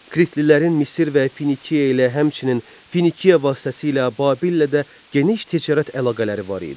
Kritlilərin Misir və Finikiya ilə, həmçinin Finikiya vasitəsilə Babillə də geniş ticarət əlaqələri var idi.